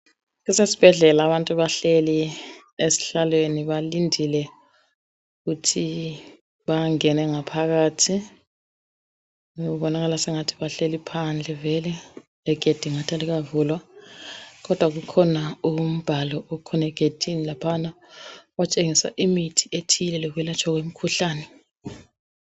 Kusesibhedlela abantu bahleli ezihlalweni balindile ukuthi bangene ngaphakathi kubonakala sengathi bahleli phandle vele legedi ungathi alikavulwa kodwa kukhona umbhalo othile otshengisa imithi ethile lokwelatshwa kwemikhuhlane.